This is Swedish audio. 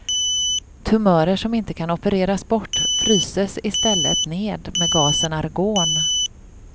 Tumörer som inte kan opereras bort fryses i stället ned med gasen argon.